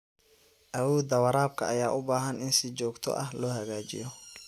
Awoodda waraabka ayaa u baahan in si joogto ah loo hagaajiyo.